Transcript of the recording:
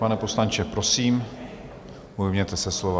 Pane poslanče, prosím, ujměte se slova.